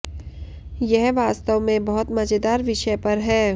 यह वास्तव में बहुत मजेदार विषय पर है